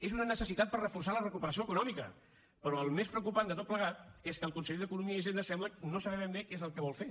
és una necessitat per reforçar la recuperació econòmica però el més preocupant de tot plegat és que el conseller d’economia i hisenda sembla no saber ben bé què és el que vol fer